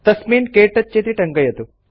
तस्मिन् क्तौच इति टङ्कयतु